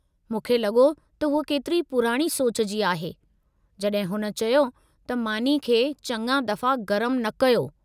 मूंखे लॻो त हूअ केतिरी पुराणी सोच जी आहे, जॾहिं हुन चयो त मानी खे चङा दफ़ा गरमु न कयो।